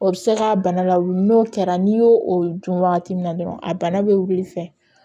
O bɛ se ka bana lawuli n'o kɛra n'i y'o o dun wagati min dɔrɔn a bana bɛ wili fɛ